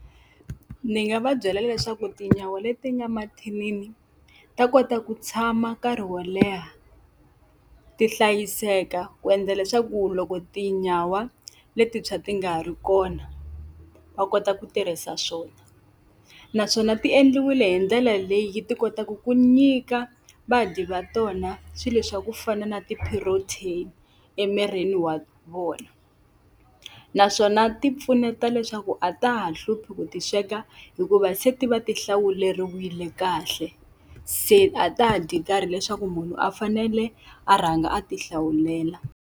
Ndzi nga va byela leswaku tinyawa leti nga mathinini ta kota ku tshama nkarhi wo leha ti hlayiseka, ku endla leswaku loko tinyawa letintshwa ti nga ha ri kona va kota ku tirhisa swona. Naswona ti endliwile hi ndlela leyi ti kotaka ku nyika vadyi va tona swilo swa ku fana na ti-protein emirini wa vona. Naswona ti pfuneta leswaku a ta ha hluphi ku ti sweka hikuva se ti va ti hlawuleriwile kahle. Se a ta ha dyi karhi leswaku munhu a fanele a rhanga a ti hlawulela.